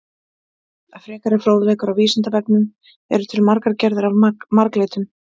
Frekari fróðleikur á Vísindavefnum: Eru til margar gerðir af marglyttum?